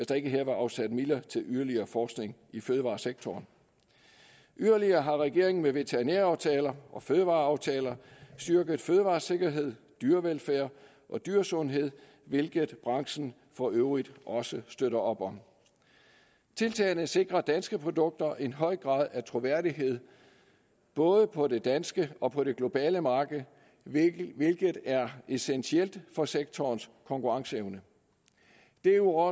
der her var afsat midler til yderligere forskning i fødevaresektoren yderligere har regeringen med veterinæraftaler og fødevareaftaler styrket fødevaresikkerhed dyrevelfærd og dyresundhed hvilket branchen for øvrigt også støtter op om tiltagene sikrer danske produkter en høj grad af troværdighed både på det danske og på det globale marked hvilket er essentielt for sektorens konkurrenceevne derudover